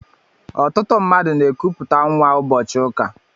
Ọtụtụ mmadụ n'ekuputa nwa ụbọchị ụka.